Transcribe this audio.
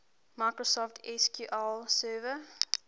microsoft sql server